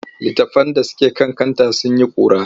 Litattafan da suke kan kanta sun yi ƙura.